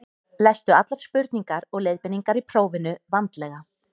lestu allar spurningar og leiðbeiningar í prófinu vandlega